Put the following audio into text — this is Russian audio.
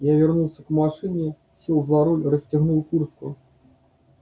я вернулся к машине сел за руль расстегнул куртку